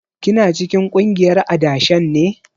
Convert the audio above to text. Kina cikin kungiyar adashen ne?